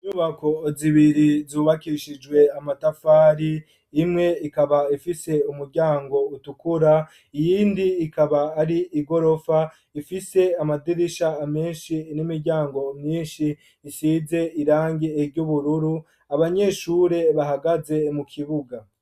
Imyubako zibiri zubakishijwe amatafari imwe ikaba ifise umuryango utukura iyindi ikaba ari i gorofa ifise amadirisha amenshi n'imiryango mwinshi isize irange eryoubururu abanyeshure bahagaze mu kibuga.